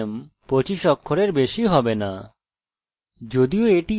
firstname 25 অক্ষরের বেশি হবে না